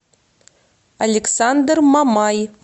александр мамай